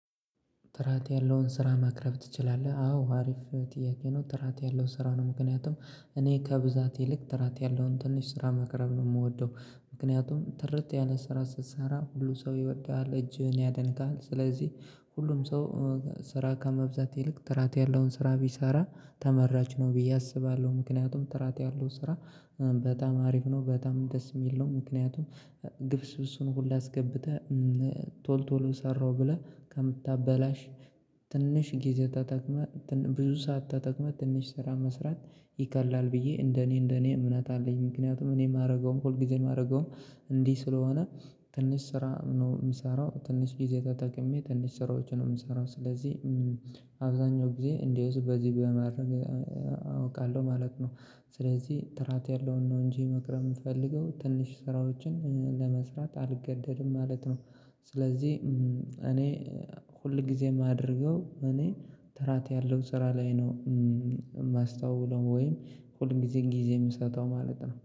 ጥራት ያለውን ስራ ማቅረብ ትችላለህ? አዎ አሪፍ ጥያቄ ነው ጥራት ያለው ስራው ነው። ምክንያቱም እኔ ከብዛት ይልቅ ጥራት ያለውን ትንሽ ስራ ማቅረብ ነው የምወደው። ምክንያቱም ጥርት ያለ ስራ ስትሰራ ሁሉ ሰው ይወድሃል እጅህን ያደንቃል። ስለዚህ ሁሉም ሰው ስራ ከመብዛት ይልቅ ጥራት ያለውን ስራ ቢሰራ ተመራጭ ነው ብዬ አስባለሁ። ምክንያቱም ጥራት ያለው ስራ በጣም አሪፍ ነው በጣም ደስ የሚል ነው። ምክንያቱም ግብስብስሱን ሁሉ አስገብተህ ቶል ቶሎ ሰራሁ ብለህ ከምታበላሽ። ትንሽ ጊዜ ተጠቅመህ ብዙ ሰዓት ተጠቅመህ ትንሽ ስራ መስራት ይቀላል ብዬ እንደኔ እንደኔ እምነት አለኝ። ምክንያቱም እኔ የማደርገውም ሁል ጊዜ የማደርገውም እንዲህ ስለሆነ ትንሽ ስራ ነው የሚሰራው ትንሽ ጊዜ ተጠቅሜ ትንሽ ስራዎችን ነው የምሰራው። ስለዚህ አብዛኛው ጊዜ እንዲህ ውስጥ በዚህ በማድረግ አውቃለሁ ማለት ነው። ስለዚህ ጥራት ያለውን ነው እንጂ መቅረብ የምፈልገው ትንሽ ስራዎችን ለመስራት አልገደድም ማለት ነው። ስለዚህ እኔ ሁል ጊዜ የማደርገው እኔ ጥራት ያለው ስራ ላይ ነው የማስተውለው ወይም ሁል ጊዜም ጊዜ የምሰጠው ማለት ነው